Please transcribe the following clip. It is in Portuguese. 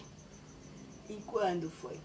E quando foi?